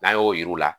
N'an y'o yir'u la